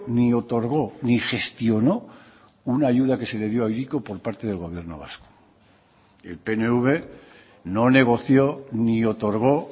ni otorgó ni gestionó una ayuda que se le dio a hiriko por parte del gobierno vasco el pnv no negoció ni otorgó